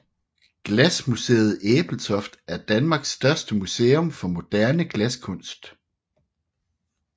Glasmuseet Ebeltoft er Danmarks største museum for moderne glaskunst